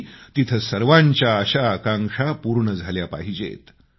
आणि तिथं सर्वांच्या आशा आकांक्षा पूर्ण झाल्या पाहिजेत